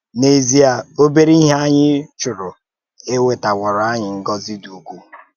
N’èzíe, óbère ihe ányị chùrù ewetàwòrò ányị ngózí dì ụ̀kwū